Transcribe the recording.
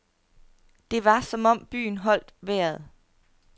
Det var som om byen holdt vejret.